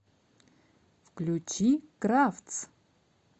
включи кравц